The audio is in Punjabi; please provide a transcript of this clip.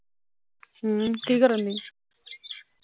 ਹਮ ਕੀ ਕਰਨ ਡਈ